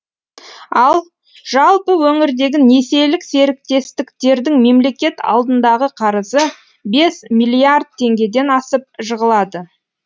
ал жалпы өңірдегі несиелік серіктестіктердің мемлекет алдындағы қарызы бес миллиард теңгеден асып жығылады